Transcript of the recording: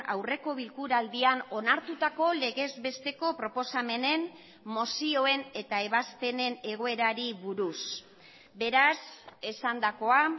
aurreko bilkura aldian onartutako legez besteko proposamenen mozioen eta ebazpenen egoerari buruz beraz esandakoa